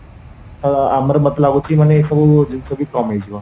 ଆଉ ଆମର ମତେ ଲାଗୁଚି ମାନେ ଏ ସବୁ ଜିଣିଷ ବି କମ ହେଇଯିବ